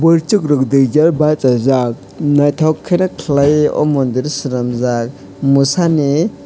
boroisok rok dui jon basajak naitok ke kelaioe o mondir chelamjak mosha ni.